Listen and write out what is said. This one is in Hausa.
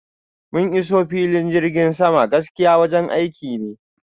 mun iso filin jirgin sama, gaskiya wajen aiki ne